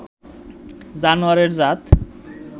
জানোয়ারের জাত